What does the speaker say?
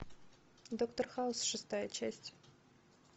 доктор хаус шестая часть